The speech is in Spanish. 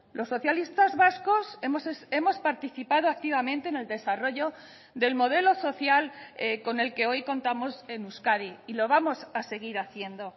los socialistas vascos hemos participado activamente en el desarrollo del modelo social con el que hoy contamos en euskadi y lo vamos a seguir haciendo